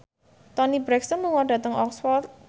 Toni Brexton lunga dhateng Oxford